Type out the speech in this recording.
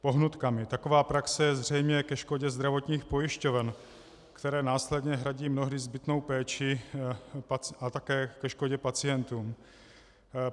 Taková praxe je zřejmě ke škodě zdravotních pojišťoven, které následně hradí mnohdy zbytnou péči, a také ke škodě pacientům.